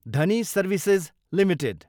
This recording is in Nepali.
Dhani services Ltd